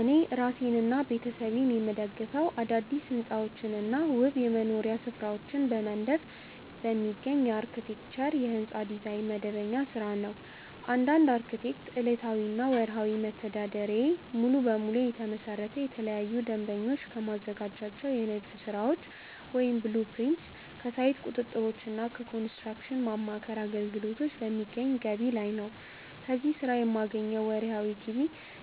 እኔ እራሴንና ቤተሰቤን የምደግፈው አዳዲስ ሕንፃዎችንና ውብ የመኖሪያ ስፍራዎችን በመንደፍ በሚገኝ የአርክቴክቸር (የሕንፃ ዲዛይን) መደበኛ ሥራ ነው። እንደ አንድ አርክቴክት፣ ዕለታዊና ወርሃዊ መተዳደሪያዬ ሙሉ በሙሉ የተመሰረተው ለተለያዩ ደንበኞች ከማዘጋጃቸው የንድፍ ሥራዎች (blueprints)፣ ከሳይት ቁጥጥሮችና ከኮንስትራክሽን ማማከር አገልግሎቶች በሚገኝ ገቢ ላይ ነው። ከዚህ ሥራ የማገኘው ወርሃዊ